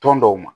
Tɔn dɔw ma